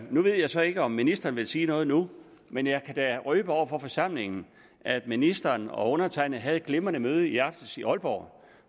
nu ved jeg så ikke om ministeren vil sige noget nu men jeg kan da røbe over for forsamlingen at ministeren og undertegnede havde et glimrende møde i aftes i aalborg